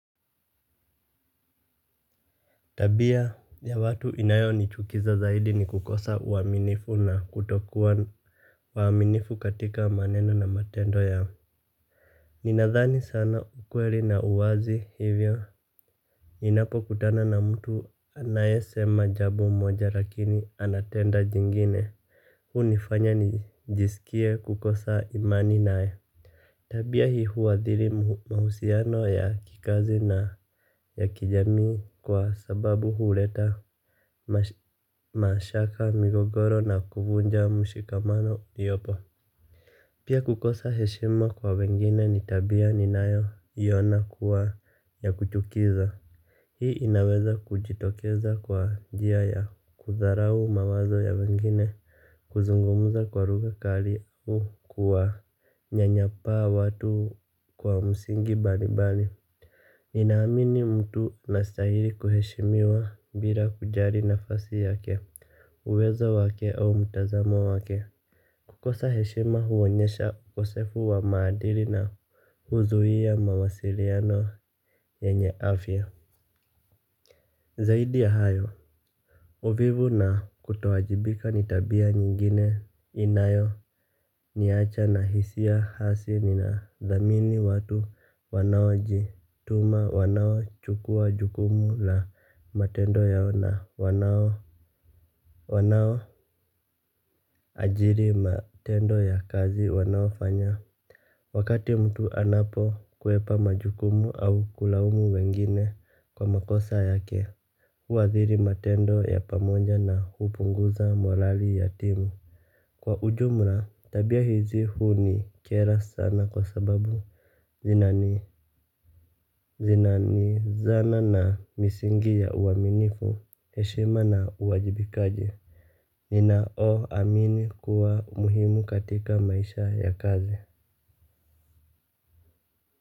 Tabia ya watu inayonichukiza zaidi ni kukosa uaminifu na kutokua uaminifu katika maneno na matendo ya ninadhani sana ukweli na uwazi hivyo. Ninapokutana na mtu anayesema jambo moja lakini anatenda jingine hunifanya nijisikie kukosa imani nae. Tabia hii huadhiri mahusiano ya kikazi na ya kijamii kwa sababu huleta mashaka migogoro na kuvunja mshikamano uliopo. Pia kukosa heshima kwa wengine ni tabia ninayoina kuwa ya kuchukiza. Hii inaweza kujitokeza kwa njia ya kudharau mawazo ya wengine kuzungumuza kwa lugha kali au kuwanyanyapaa watu kwa msingi mbalimbali ninaamini mtu anastaili kuheshimiwa bila kujali nafasi yake uwezo wake au mtazamo wake. Kukosa heshima huonyesha ukosefu wa maadili na huzuhia mawasiliano yenye afya. Zaidi ya hayo, uvivu na kutowajibika ni tabia nyingine inayo niacha na hisia hasi ninadhamini watu wanaojituma wanaochukua jukumu la matendo yao na wanaoajiri matendo ya kazi wanaofanya. Wakati mtu anapokwepa majukumu au kulaumu wengine kwa makosa yake, huathiri matendo ya pamoja na hupunguza morali ya timu. Kwa ujumla, tabia hizi hunikera sana kwa sababu zinani. Zinanizana na misingi ya uaminifu, hehima na uwajibikaji. Ninaoamini kuwa muhimu katika maisha ya kazi.